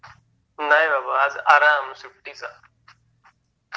नाही बाबा आज आराम सुट्टीचा